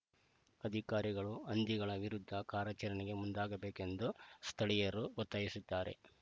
ಅಧಿಕಾರಿಗಳು ಹಂದಿಗಳ ವಿರುದ್ಧ ಕಾರ್ಯಾಚರಣೆಗೆ ಮುಂದಾಗಬೇಕು ಎಂದು ಸ್ಥಳೀಯರು ಒತ್ತಾಯಿಸಿದ್ದಾರೆ